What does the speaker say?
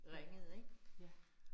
Ja, ja